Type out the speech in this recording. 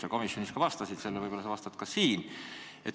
Sa komisjonis vastasid sellele ja võib-olla vastad ka siin.